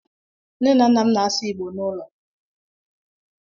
Nne na nna m na-asụ Igbo n'ụlọ.